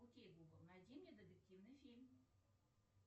окей гугл найди мне детективный фильм